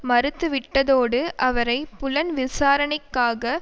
மறுத்துவிட்டதோடு அவரை புலன்விசாரணைக்காக